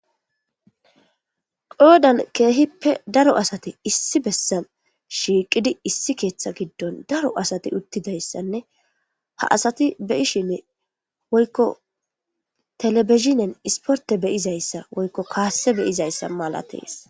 qoodan keehippe daro asate issi bessa shiiqidi issi keeththa giddon daro asati uttidayssanne ha asati beyishinne woykko telebizhinen isporte beyizayssa woykko kaasse beyizayssa malatees